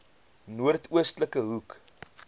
noord oostelike hoek